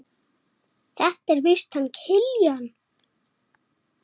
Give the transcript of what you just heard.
Mamma fórnaði höndum.